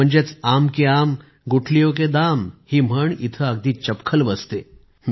म्हणजेच आम के आम गुठलियो के दाम ही म्हण इथे अगदी चपखल बसते